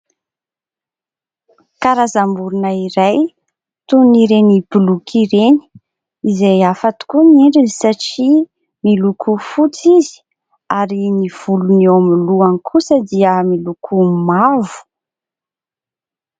Karazam-borina iray toy ny ireny boloky ireny. Izay hafa tokoa ny endriny satria miloko fotsy izy ary ny volony eo amin'ny lohany kosa dia miloko mavo.